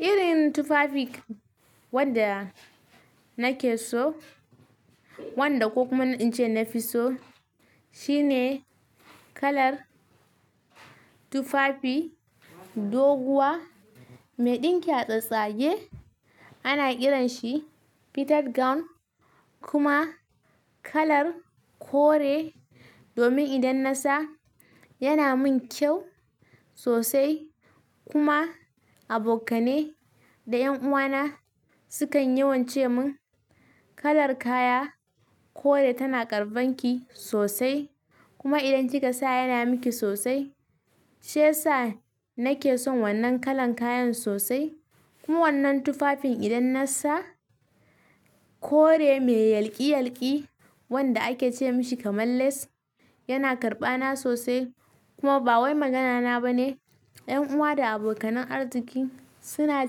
Irin tufafi wanda nake so, wanda kuma in ce na fi so, shine kalar tufafi doguwa mai ɗinki a tsastsage. Ana kiran shi fitted gown kuma kalar kore. Domin idan nasa yana min kyau sosai kuma abokanai da ƴan uwana sukan yawan ce min kalar kaya kore tana ƙarban ki sosai, kuma idan kika sa yana miki sosai. Shi yasa nake son wannan kalan kayan sosai. Kuma wannan tufafin idan nasa kore mai yalƙi-yalƙi wanda ake ce mishi kamar lace yana karɓana sosai. Kuma ba wai magana na ba ne, ƴan uwa da abokanan arziki suna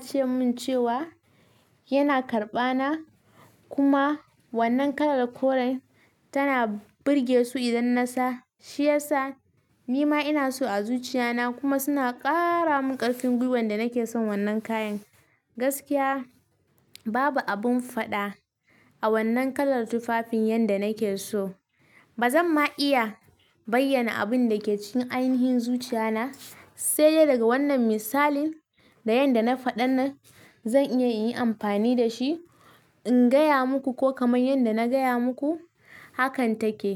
ce min cewa yana karɓana. Kuma wannan kalar koren tana burge su idan nasa. Shi yasa ni ma ina so a zuciya na kuma suna ƙaara mun ƙarfin gwiwar da nake son wannan kayan. Gaskiya babu abin faɗa a wannan kalar tufafin yanda nake so. Ba zan ma iya bayyana abin da ke cikin ainihin zuciya na sai dai daga wannan misalin da yanda na faɗa na zan iya in yi amfani da shi in gaya muku ko kamar yanda na gaya muku. Hakan take.